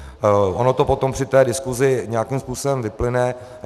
Ono to potom při té diskusi nějakým způsobem vyplyne.